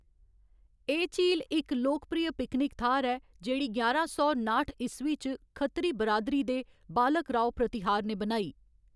एह्‌‌ झील इक लोकप्रिय पिकनिक थाह्‌‌‌र ऐ, जेह्‌‌ड़ी ञारां सौ नाठ ईस्वी च खत्तरी बरादरी दे बालक राव प्रतिहार ने बनाई।